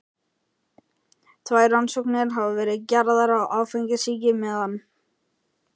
Tvær rannsóknir hafa verið gerðar á áfengissýki meðal